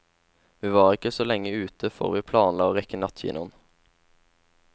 Vi var ikke så lenge ute for vi planla å rekke nattkinoen.